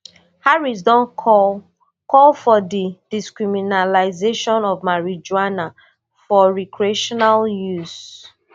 harrisdon call call for di decriminalisation of marijuana for recreational use